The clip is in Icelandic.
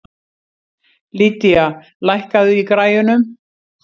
Lydia, lækkaðu í græjunum.